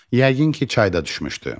Yəqin ki, çayda düşmüşdü.